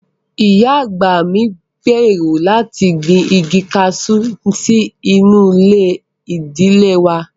Ìyá àgbà mi ń gbèrò láti gbin igi kaṣú sí inú ilé ìdílé wà